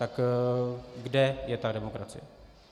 Tak kde je ta demokracie?